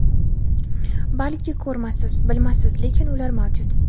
Balki ko‘rmassiz, bilmassiz, lekin ular mavjud.